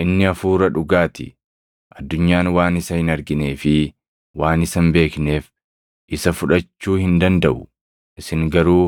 inni Hafuura dhugaa ti. Addunyaan waan isa hin arginee fi waan isa hin beekneef isa fudhachuu hin dandaʼu. Isin garuu